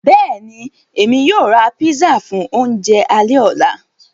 Bẹ́ẹ̀ni, Èmi yóò rá pízzà fún ọ̀unjẹ̀ àlẹ̀-ọlá.